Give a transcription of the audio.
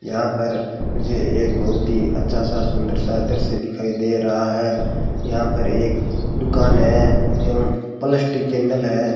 यहां पर मुझे एक बहुत ही अच्छा सा सुंदर सा दृश्य दिखाई दे रहा है यहां पर एक दुकान है एवं प्लास्टिक के नल है।